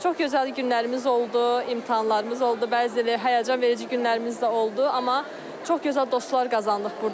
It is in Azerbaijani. Çox gözəl günlərimiz oldu, imtahanlarımız oldu, bəzi həyəcanverici günlərimiz də oldu, amma çox gözəl dostlar qazandıq burda.